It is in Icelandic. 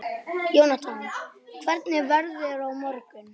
Jónatan, hvernig er veðrið á morgun?